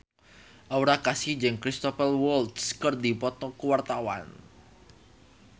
Aura Kasih jeung Cristhoper Waltz keur dipoto ku wartawan